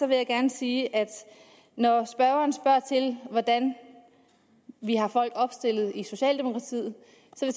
vil jeg gerne sige at når spørgeren spørger til hvordan vi har folk opstillet i socialdemokratiet